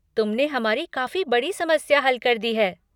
तुमने हमारी काफ़ी बड़ी समस्या हल कर दी है।